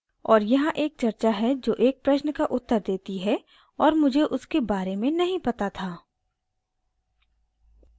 और यहाँ एक चर्चा है जो एक प्रश्न का उत्तर देती है और मुझे उसके बारे में नहीं पता था